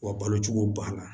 Wa balo cogo banna